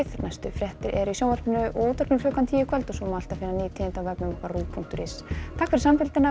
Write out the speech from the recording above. næstu fréttir eru í sjónvarpi og útvarpi klukkan tíu í kvöld og alltaf á ruv punktur is takk fyrir samfylgdina og